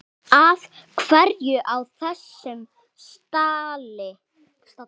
Af hverju á þessum stalli?